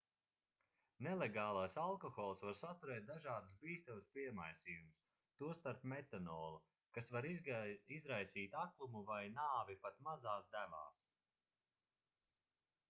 nelegālais alkohols var saturēt dažādus bīstamus piemaisījumus tostarp metanolu kas var izraisīt aklumu vai nāvi pat mazās devās